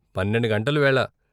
పన్నెండు గంటల వేళ